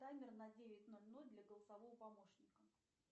таймер на девять ноль ноль для голосового помощника